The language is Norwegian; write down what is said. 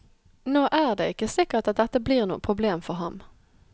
Nå er det ikke sikkert at dette blir noe problem for ham.